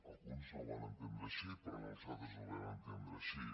alguns no ho van entendre així però nosaltres ho vam entendre així